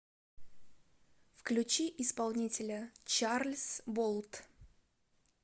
включи исполнителя чарльз болт